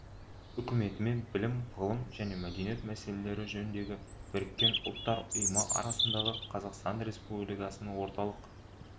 үкіметі мен білім ғылым және мәдениет мәселелері жөніндегі біріккен ұлттар ұйымы арасындағы қазақстан республикасында орталық